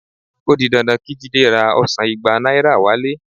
O di dandan kí Jídé ra ọsàn igba náírà wálé